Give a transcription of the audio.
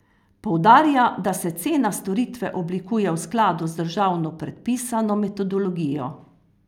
Poudarja, da se cena storitve oblikuje v skladu z državno predpisano metodologijo.